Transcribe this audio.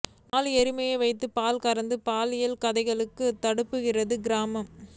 நாலு எருமையை வைத்து பால் கறந்து பாலியல் கதைகளுக்கு தப்புகிறார் கிரா